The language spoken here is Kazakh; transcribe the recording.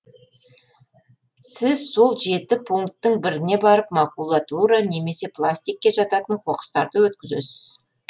сіз сол жеті пунктің біріне барып макулатура немесе пластикке жататын қоқыстарды өткізесіз